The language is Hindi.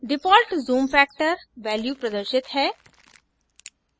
default zoom factor % value प्रदर्शित है